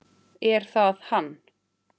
Er það hann?